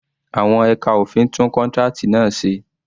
Àwọn ẹka òfin tún contract náà se